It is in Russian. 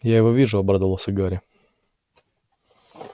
я его вижу обрадовался гарри